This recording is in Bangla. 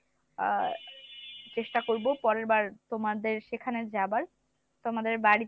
আহ চেষ্টা করবো পরেরবার তোমাদের সেখানে যাবার তোমাদের বাড়িতে